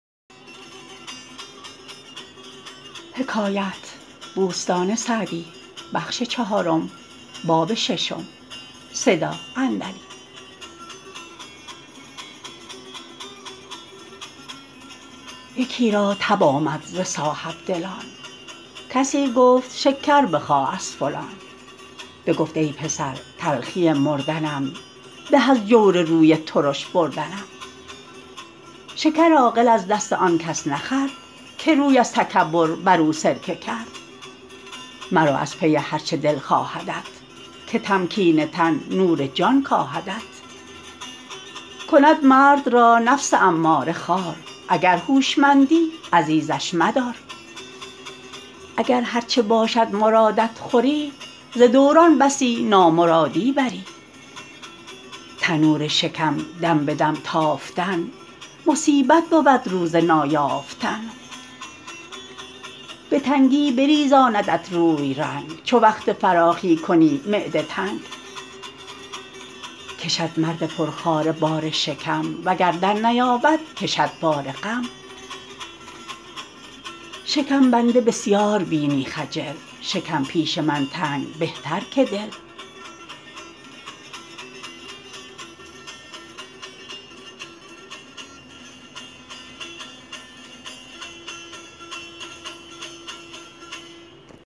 یکی را تب آمد ز صاحبدلان کسی گفت شکر بخواه از فلان بگفت ای پسر تلخی مردنم به از جور روی ترش بردنم شکر عاقل از دست آن کس نخورد که روی از تکبر بر او سرکه کرد مرو از پی هر چه دل خواهدت که تمکین تن نور جان کاهدت کند مرد را نفس اماره خوار اگر هوشمندی عزیزش مدار اگر هرچه باشد مرادت خوری ز دوران بسی نامرادی بری تنور شکم دم به دم تافتن مصیبت بود روز نایافتن به تنگی بریزاندت روی رنگ چو وقت فراخی کنی معده تنگ کشد مرد پرخواره بار شکم وگر در نیابد کشد بار غم شکم بنده بسیار بینی خجل شکم پیش من تنگ بهتر که دل